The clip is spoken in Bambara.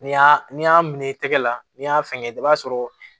Ni y'a n'i y'a minɛ i tɛgɛ la n'i y'a fɛngɛ i b'a sɔrɔ